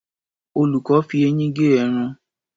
Olùkọ́ fi eyín gé ẹran.